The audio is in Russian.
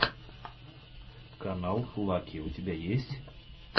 канал лаки у тебя есть